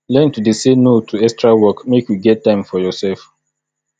learn to dey say no to extra work make you get time for yoursef